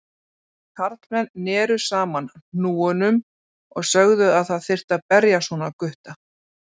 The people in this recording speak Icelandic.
Karlmenn neru saman hnúunum og sögðu að það þyrfti að berja svona gutta.